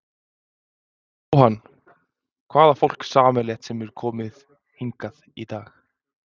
Jóhann: Hvað á fólk sameiginlegt sem að hefur komið hingað í dag?